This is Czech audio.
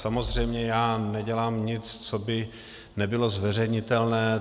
Samozřejmě, já nedělám nic, co by nebylo zveřejnitelné.